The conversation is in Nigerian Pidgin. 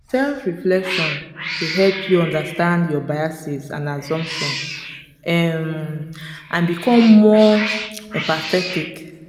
self-reflection dey help you understand your biases and assumptions um and become more empathetic.